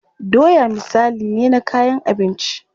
Doya misali ne na kayan abinci.